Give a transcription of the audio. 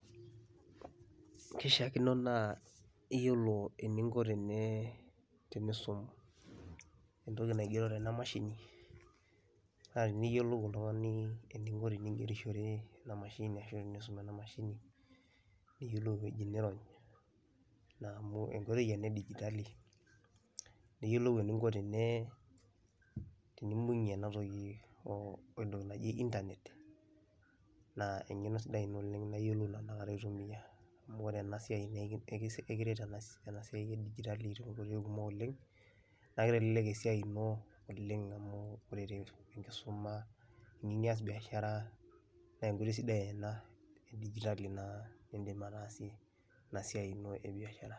Kishaakino naa iyiolo eninko tenee tenisum entoki naigero tena mashini naa teniyiolou oltung'ani eninko tening'erishore ina mashini ashu enisum ena mashini, niyiolou ewoji niirony naa amu enkoitoi ena e dijitali, niyiolou eninko tenee tenimbung'ie ena toki o we ntoki naji intanet naa eng'eno sidai ina oleng' naa iyiolou tenakata aitumia amu ore ena siai nae eki ekis ekiret ena siai e dijitali too nkoitoi kumok oleng', naake itelelek esiai ino oleng' amu ore te enkisuma, teniyiu nias biashara, nee enkoitoi sidai ena e dijitali naa iindim ataasie ina siai ino e biashara.